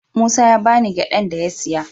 Musa ya ba ni gyadan da ya siya.